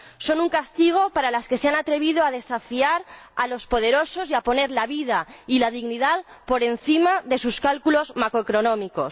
son un castigo para los que se han atrevido a desafiar a los poderosos y a poner la vida y la dignidad por encima de sus cálculos macroeconómicos.